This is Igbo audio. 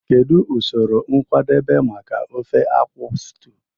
Kedu usoro nkwadebe maka ofe akwu stew?